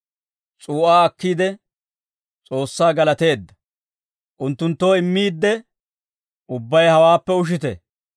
S'uu'aa akkiide, S'oossaa galateedda. Unttunttoo immiidde, «Ubbay hawaappe ushite;